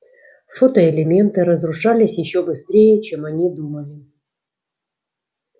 фотоэлементы разрушались ещё быстрее чем они думали